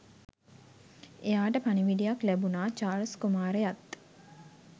එයාට පණිවිඩයක් ලැබුනා චාල්ස් කුමාරයත්